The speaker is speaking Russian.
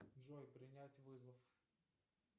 джой принять вызов